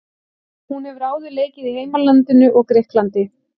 Hún hefur áður leikið í heimalandinu og Grikklandi.